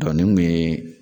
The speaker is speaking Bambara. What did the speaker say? nin tun ye